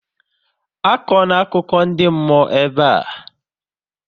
Akọ na akụkọ ndị mmụọ ebe a!